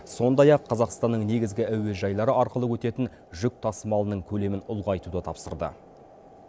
сондай ақ қазақстанның негізгі әуежайлары арқылы өтетін жүк тасымалының көлемін ұлғайтуды тапсырды